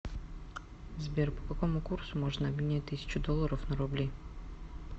сбер по какому курсу можно обменять тысячу долларов на рубли